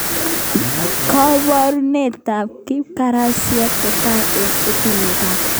Koborunetab kipkarasit kotai eng etunetab